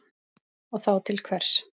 Og þá til hvers?